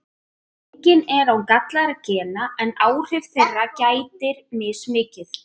Enginn er án gallaðra gena en áhrifa þeirra gætir mismikið.